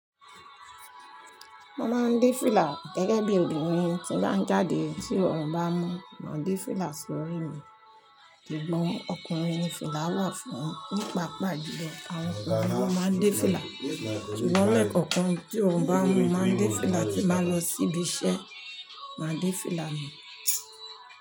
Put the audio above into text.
Mo máa ń de fìlà gẹ́gẹ́ bí obìnrin tí bá ń jáde tí orun bá mú, màá de fìlà sí orí mi. Sugbon ọkùnrin ni fìlà wà fún? Nípa paapaa julo, àwọn ọkùnrin máa ń dín fìlà, ṣùgbọ́n lẹ́kọ̀ọ̀kan tí orun bá mú, mo máa ń de fìlà tí n bà n lọ síbi iṣẹ́, màá de fìlà mì.